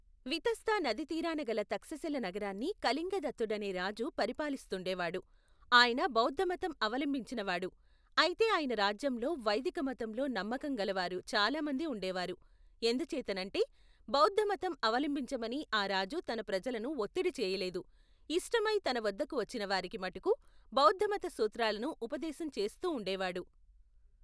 వితస్తా నదీతీరాన గల తక్షశిల నగరాన్ని కళింగదత్తుడనే రాజు పరిపాలిస్తూండేవాడు ఆయన బౌద్ధమతం అవలంబించినవాడు అయితే ఆయన రాజ్యంలో వైదిక మతంలో నమ్మకం గలవారు చాలామంది ఉండేవారు ఎందుచేతనంటే బౌద్ధమతం అవలంబించమని అ రాజు తన ప్రజలను ఒత్తిడిచేయలేదు ఇష్టమై తనవద్దకు వచ్చినవారికి మటుకు బౌద్ధమత సూత్రాలను ఉపదేశం చేస్తూ ఉండేవాడు.